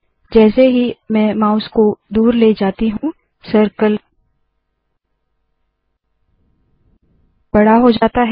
जैसे ही मैं माउस को दूर ले जाती हूँ सर्कल बड़ा हो जाता है